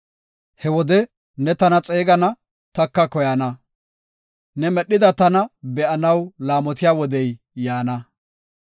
He wode ne tana xeegana taka koyana; ne medhida tana be7anaw laamotiya wodey yaana.